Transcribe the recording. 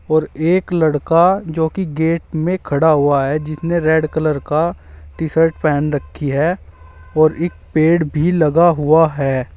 और एक लड़का जो की गेट में खड़ा हुआ है जिसने रेड कलर का टी शर्ट पहन रखी है और एक पेड़ भी लगा हुआ है।